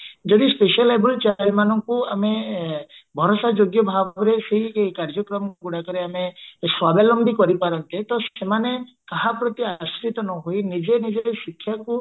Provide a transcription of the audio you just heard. ଯଦି specially enabled child ମାନଙ୍କୁ ଆମେ ଭରସା ଯୋଗ୍ୟ ଭାବରେ ସେଇ କାର୍ଯ୍ୟକ୍ରମ ଗୁଡାକରେ ଆମେ ସ୍ବାବଲମ୍ବୀ କରି ପାରନ୍ତେ ତ ସେମାନେ କାହା ପ୍ରତି ଆଶ୍ରିତ ନ ହୋଇ ନିଜ ନିଜର ଶିକ୍ଷାକୁ